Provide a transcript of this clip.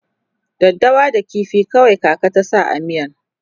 daddawa da ƙifi kawai kaka ta sa a miyan